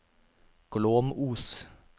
Glåmos